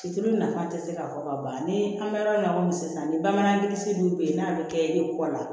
Cilo nafa tɛ se ka fɔ ka ban ni an bɛ yɔrɔ min na komi sisan ni bamanansi dun bɛ yen n'a bɛ kɛ e kɔ la